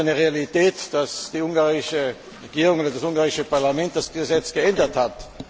Ja, es ist eine Realität, dass die ungarische Regierung oder das ungarische Parlament das Gesetz geändert hat.